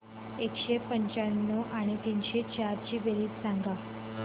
एकशे पंच्याण्णव आणि तीनशे चार ची बेरीज सांगा बरं